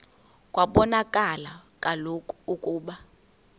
kwabonakala kaloku ukuba